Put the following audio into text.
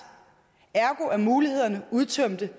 ergo er mulighederne udtømte